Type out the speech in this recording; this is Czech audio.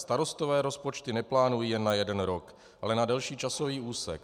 Starostové rozpočty neplánují jen na jeden rok, ale na delší časový úsek.